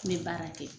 N bɛ baara kɛ